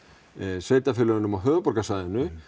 sveitarfélögunum á höfuðborgarsvæðinu